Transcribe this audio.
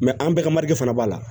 an bɛɛ ka fana b'a la